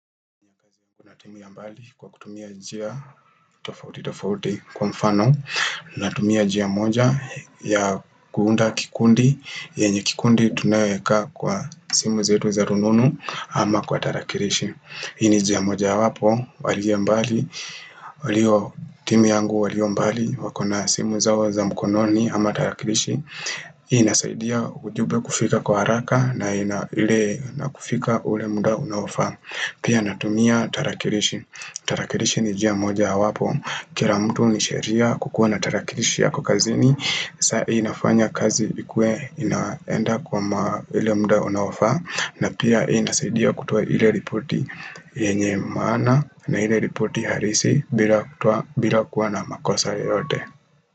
Unatimia mbali kwa kutumia njia tofauti tofauti kwa mfano natimia njia moja ya kuunda kikundi yenye kikundi tunayo weka kwa simu zetu za rununu ama kwa tarakilishi hii ni njia moja wapo, walio mbali, walio timu yangu walio mbali wakona simu zao za mkononi ama tarakilishi inasaidia ujumbe kufika kwa haraka na ili na kufika ule muda unao faa Pia natumia tarakirishi Tarakirishi ni njia moja wapo Kila mtu ni sheria kukuwa na tarakilishi yako kazini sahii inafanya kazi ikue inaenda kwa ile mda unaofa na pia inasaidia kutuwa ile ripoti yenye maana na ile ripoti halisi bila kutuwa bila kuwa na makosa yote.